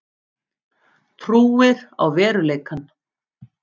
Trúir á veruleikann.